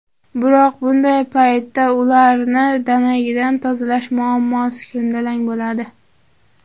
Biroq bunday paytda ularni danagidan tozalash muammosi ko‘ndalang bo‘ladi.